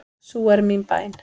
Sú er mín bæn.